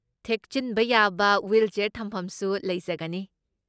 ꯊꯦꯛꯆꯤꯟꯕ ꯌꯥꯕ ꯋꯤꯜꯆꯤꯌꯥꯔ ꯊꯝꯐꯝꯁꯨ ꯂꯩꯖꯒꯅꯤ꯫